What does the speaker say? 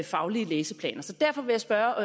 faglige læseplaner så derfor vil jeg spørge